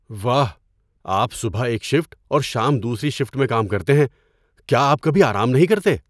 واہ! آپ صبح ایک شفٹ اور شام دوسری شفٹ میں کام کرتے ہیں! کیا آپ کبھی آرام نہیں کرتے؟